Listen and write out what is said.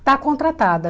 Está contratada.